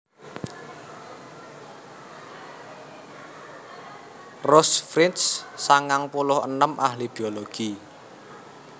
Rose Frisch sangang puluh enem ahli biologi